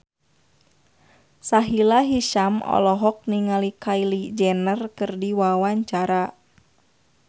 Sahila Hisyam olohok ningali Kylie Jenner keur diwawancara